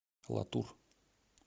латур